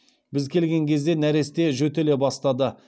біз келген кезде нәресте жөтеле бастады